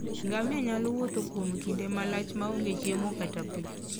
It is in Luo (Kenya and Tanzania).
Ngamia nyalo wuotho kuom kinde malach maonge chiemo kata pi